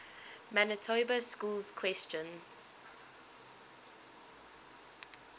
manitoba schools question